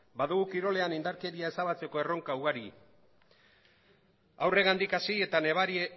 badugu kirolean indarkeria ezabatzeko erronka ugari haurrengandik hasi eta